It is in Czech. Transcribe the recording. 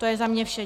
To je za mě vše.